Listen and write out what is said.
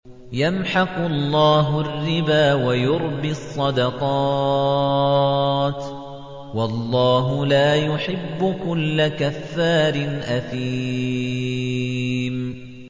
يَمْحَقُ اللَّهُ الرِّبَا وَيُرْبِي الصَّدَقَاتِ ۗ وَاللَّهُ لَا يُحِبُّ كُلَّ كَفَّارٍ أَثِيمٍ